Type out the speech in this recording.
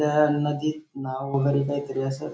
त्या नदीत नाव वगेरे काहीतरी असं --